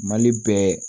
Mali bɛ